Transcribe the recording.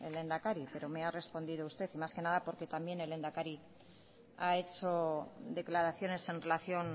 el lehendakari pero me ha respondido usted más que nada porque también el lehendakari ha hecho declaraciones en relación